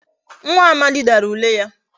Nwa Amadi Dara ule ya